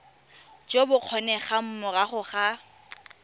jo bo kgonegang morago ga